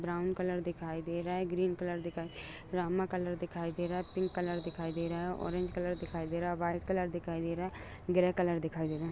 Brown colour दिखाई दे रहा है ग्रीन कलर दिखाई दे रहा है रामा कलर दिखाई दे रहा है पिंक कलर दिखाई दे रहा है ऑरेंज कलर दिखाई दे रहा है वाइट कलर दिखाई दे रहा है ग्रे कलर दिखाई दे रहा है।